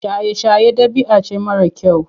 Shaye-shaye ɗabi'a ce mara kyau.